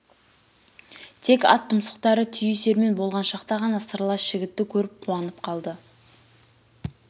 тек ат тұмсықтары түйісермен болған шақта ғана сырлас жігітті көріп қуанып қалды